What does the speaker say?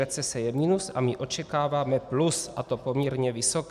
Recese je minus, a my očekáváme plus, a to poměrně vysoké.